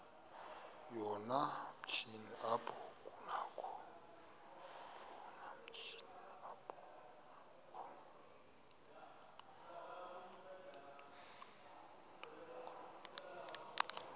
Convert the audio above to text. yoomatshini apho kunakho